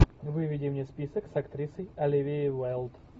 выведи мне список с актрисой оливией уайлд